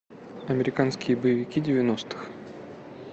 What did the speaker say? американские боевики девяностых